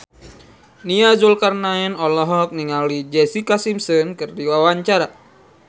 Nia Zulkarnaen olohok ningali Jessica Simpson keur diwawancara